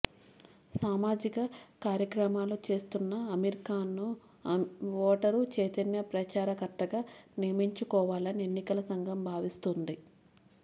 సామాజిక కార్యక్రమాలు చేస్తున్న అమీర్ ఖాన్ ను ఓటరు చైతన్య ప్రచార కర్తగా నియమించుకోవాలని ఎన్నికల సంఘం భావిస్తోంది